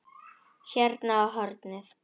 Hérna á hornið.